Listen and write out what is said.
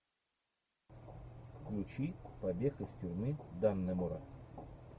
включи побег из тюрьмы даннемора